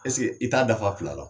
Ɛseke i t'a dafa fila la?